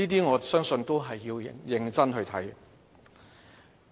我相信這些也是要認真看待的。